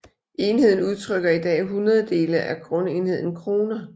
Enheden udtrykker i dag hundrededele af grundenheden kroner